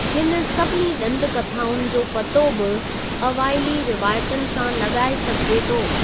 हिन सभिनी डं॒द कथाउनि जो पतो बि अवाइली रिवायतुनि सां लगा॒ए सघिजे थो।